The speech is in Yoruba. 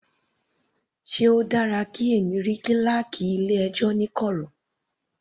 Sé o dára kí èmi rí kíláákì ilé ẹjọ́ ní kọ̀rọ̀.